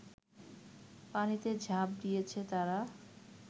পানিতে ঝাঁপ দিয়েছে তারা